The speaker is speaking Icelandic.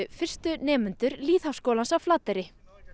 fyrstu nemendum lýðháskólans á Flateyri